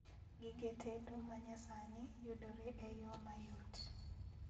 Gige tedo manyasani yudore e yoo mayot